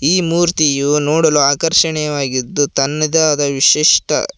ಈ ಮೂರ್ತಿಯು ನೋಡಲು ಆಕರ್ಶನಿವಾಗಿದ್ದು ತನ್ನದೇ ಆದ ವಿಶಿಷ್ಟ--